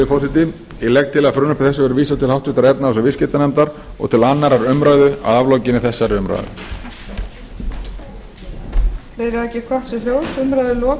forseti ég legg til að frumvarpi þessu verði vísað til háttvirtrar efnahags og viðskiptanefndar og til annarrar umræðu að aflokinni þessari umræðu